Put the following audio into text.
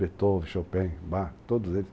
Beethoven, Chopin, Bach, todos eles.